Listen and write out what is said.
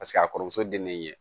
Paseke a kɔrɔmuso dennen ɲɛ